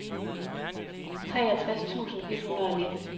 treogtres tusind et hundrede og nitten